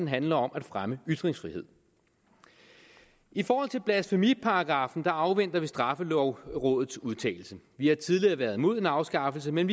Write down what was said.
handle om at fremme ytringsfrihed i forhold til blasfemiparagraffen afventer vi straffelovrådets udtalelse vi har tidligere været imod en afskaffelse men